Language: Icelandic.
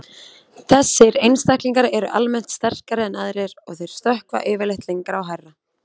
Þessir einstaklingar eru almennt sterkari en aðrir og þeir stökkva yfirleitt lengra og hærra.